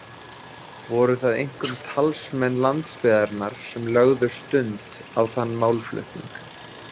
Voru það einkum talsmenn landsbyggðarinnar sem lögðu stund á þann málflutning.